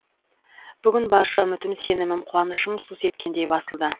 бүгін барша үмітім сенімім қуанышым су сепкендей басылды